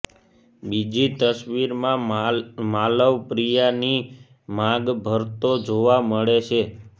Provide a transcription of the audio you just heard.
બીજી તસવીરમાં માલવ પ્રિયાની માંગ ભરતો જોવા મળે છે